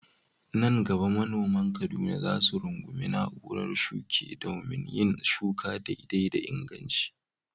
Nan gaba manoman Kaduna za su rungumi na'urar shuke domin yin shuka daidai da inganci.